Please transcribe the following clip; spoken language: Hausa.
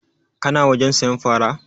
Ka na wajen sayan fara?